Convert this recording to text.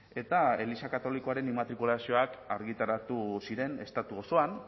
eta eliza katolikoaren immatrikulazioak argitaratu ziren estatu osoan